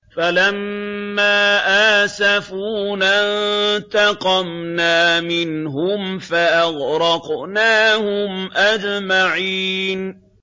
فَلَمَّا آسَفُونَا انتَقَمْنَا مِنْهُمْ فَأَغْرَقْنَاهُمْ أَجْمَعِينَ